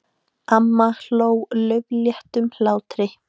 Amma hló laufléttum hlátri.